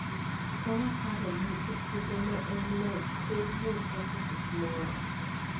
Ka waparo ni, e kinde ma en loch, Kerno chako tich moro